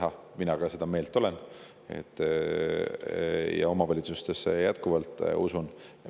Ka mina olen seda meelt ja omavalitsustesse ma jätkuvalt usun.